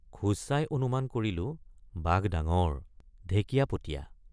খোজ চাই অনুমান কৰিলোঁ বাঘ ডাঙৰ ঢেকীয়াপতীয়া।